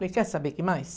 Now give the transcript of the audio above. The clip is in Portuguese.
Falei, quer saber o que mais?